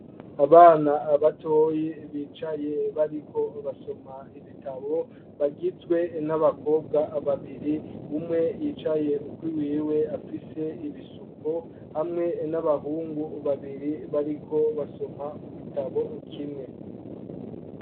Abana batoyi bicaye bariko basoma ibitabo bagizwe n'abakobwa babiri umwe yicaye ukui wiwe afise ibisuko hamwe n'abahungu babiri bariko basoma mu gitabo kimwe.